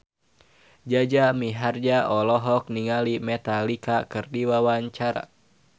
Jaja Mihardja olohok ningali Metallica keur diwawancara